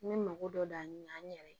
N bɛ mako dɔ da ɲɛ an yɛrɛ ye